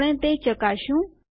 આપણે તે ચકાશશું